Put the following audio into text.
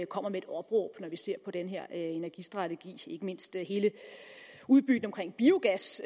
kommer med et opråb når vi ser på den her energistrategi ikke mindst hele udbygningen af biogas